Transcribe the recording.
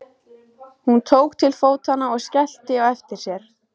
Hún tók til fótanna og skellti á eftir sér.